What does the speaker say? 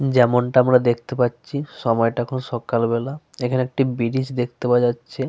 যেমনটা আমরা দেখতে পাচ্ছি সময়টা এখন সকালবেলা। এখানে একটি ব্রীজ দেখতে পাওয়া যাচ্ছে।